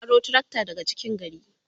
sun aro trakta daga cikin gari